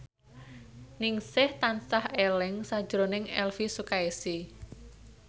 Ningsih tansah eling sakjroning Elvi Sukaesih